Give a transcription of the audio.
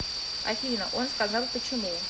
афина он сказал почему